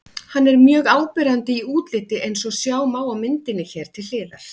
Hann er mjög áberandi í útliti eins og sjá má á myndinni hér til hliðar.